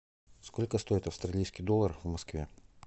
сколько стоит австралийский доллар в москве